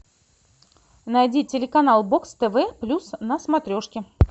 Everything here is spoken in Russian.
найди телеканал бокс тв плюс на смотрешке